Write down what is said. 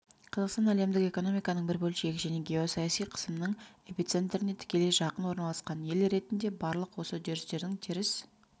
қазақстан әлемдік экономиканың бір бөлшегі және геосаяси қысымның эпицентріне тікелей жақын орналасқан ел ретінде барлық осы үдерістердің теріс